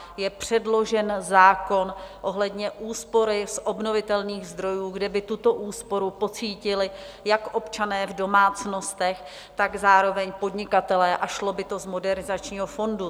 Je předložen zákon ohledně úspory z obnovitelných zdrojů, kde by tuto úsporu pocítili jak občané v domácnostech, tak zároveň podnikatelé, a šlo by to z Modernizačního fondu.